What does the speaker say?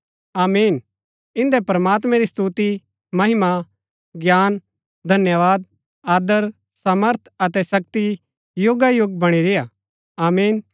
आमीन इंदै प्रमात्मैं री स्तुति महिमा ज्ञान धन्यवाद आदर सामर्थ अतै शक्ति युगायुग बणी रेय्आ आमीन